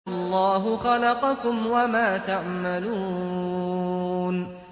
وَاللَّهُ خَلَقَكُمْ وَمَا تَعْمَلُونَ